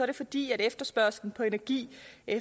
det fordi efterspørgselen på energi